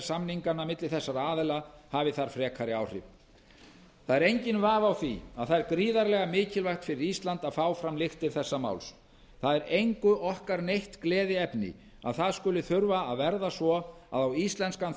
samninga milli þessara aðila hafi þar frekari áhrif réttlátt það er enginn vafi á því að það er gríðarlega mikilvægt fyrir ísland að fá fram lyktir þessa máls það er engu okkar neitt gleðiefni að það skuli þurfa að verða svo að á íslenskan